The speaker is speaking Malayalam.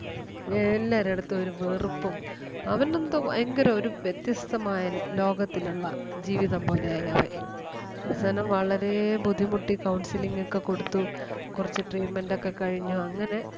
എല്ലാരടുത്തും ഒരു വെറുപ്പും അവനെന്തോ ഭയങ്കര ഒരു വത്യസ്തമായ ലോകത്തിലൊള്ള ജീവിതം പോലെ ആയി അവൻ. അവസാനം വളരേ ബുദ്ധിമുട്ടി counselling ഒക്കെ കൊടുത്ത് കൊറച്ച് treatment ഒക്കെ കഴിഞ്ഞ് അങ്ങനെ